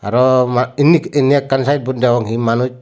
aro ma inni inni ekkan sainbot degong hi manuj.